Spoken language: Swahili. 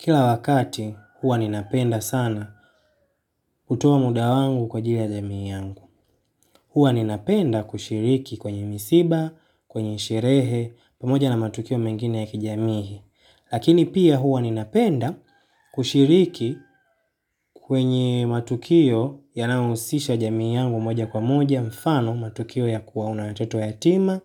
Kila wakati huwa ninapenda sana kutoa muda wangu kwa ajili ya jamii yangu. Huwa ninapenda kushiriki kwenye misiba, kwenye sherehe, pamoja na matukio mengine ya kijamii. Lakini pia huwa ninapenda kushiriki kwenye matukio yanaohusisha jamii yangu moja kwa moja, mfano matukio ya kuwa na watoto yatima,